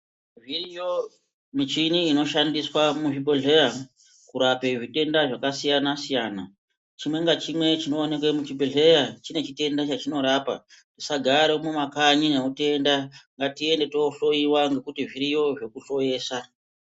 Zviriyo michini inoshandiswe muzvibhodhleya kurape zvitenda zvakasiyana siyana chimwe ngachimwe chinowanike muzhibhedhleya chine chitenda chachinorapa tisagare mumakanyi ngatiende tindohloyiwa ngekuti zviriyo zvekuhloyesa